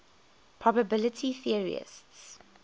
probability theorists